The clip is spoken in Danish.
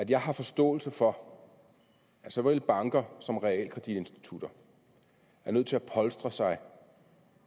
jeg har forståelse for at såvel banker som realkreditinstitutter er nødt til at polstre sig